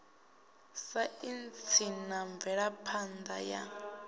saintsi na mvelaphan ḓa ya